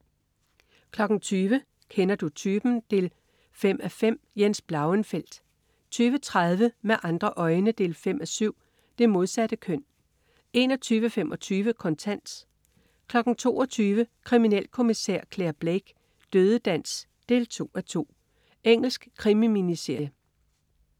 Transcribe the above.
20.00 Kender du typen? 5:5. Jens Blauenfeldt 20.30 Med andre øjne 5:7. Det modsatte køn 21.25 Kontant 22.00 Kriminalkommissær Clare Blake: Dødedans 2:2. Engelsk krimi-miniserie